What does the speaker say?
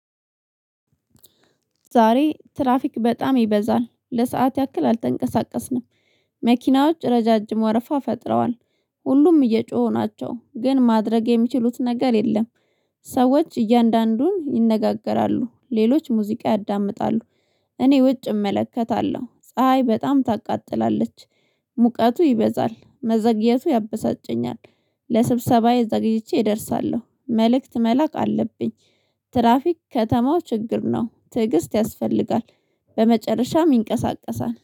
ዛሬ ትራፊክ በጣም ይበዛል። ለሰአት ያክል አልተንቀሳቀስንም። መኪናዎች ረዣዥም ወረፋ ፈጥረዋል። ሁሉም እየጮሁ ናቸው። ግን ማድረግ የሚችሉት ነገር የለም። ሰዎች እያንዳንዱን ይነጋገራሉ። ሌሎች ሙዚቃ ያዳምጣሉ። እኔ ውጭ እመለከታለሁ። ጰ ፀሀይ በጣም ታቃጥላለች። ሙቀቱ ይበዛል። መዘግየቱ ያበሳጨኛል። ለስብሰባየ ዘገይቼ እደርሳለሁ። መልእክት መላክ አለብኝ። ትራፊክ ከተማው ችግር ነው። ትዕግስት ያስፈልጋል። በመጨረሻም ይንቀሳቀሳል።